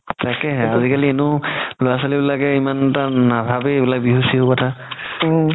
তাকেই আজিকালিনো ল'ৰা ছোৱালি বিলাকে ইমান এটা নাভাবেই এইবিলাক বিহু চিহু কথা